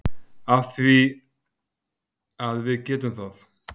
Af því að við getum það.